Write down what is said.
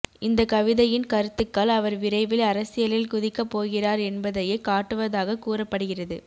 இந்த கவிதையின் கருத்துக்கள் அவர் விரைவில் அரசியலில் குதிக்க போகிறார் என்பதையே காட்டுவதாக கூறப்படுகிறது